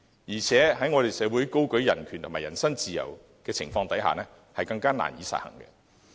況且，我們的社會高舉人權和人身自由，更加難以實行。